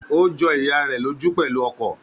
Ó jọ ìyá rẹ̀ lójú pẹ̀lú ọkọ̀